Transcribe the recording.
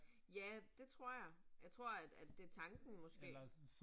Ja, det tror jeg. Jeg tror at at det tanken måske